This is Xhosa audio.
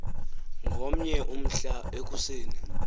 ngomnye umhla ekuseni